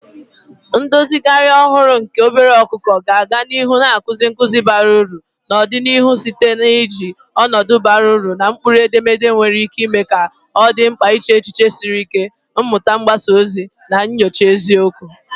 Ndozigharị ọhụrụ nke obere ọkụkọ ga-aga n'ihu na-akụzi nkuzi bara uru n'ọdịnihu site n'iji ọnọdụ ọgbara ọhụrụ na mkpụrụedemede nwere ike ime ka ọ dị mkpa iche echiche siri ike, mmuta mgbasa ozi, na nyocha eziokwu.